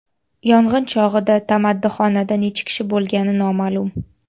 Yong‘in chog‘ida tamaddixonada necha kishi bo‘lgani noma’lum.